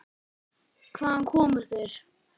Hvaðan komu þeir?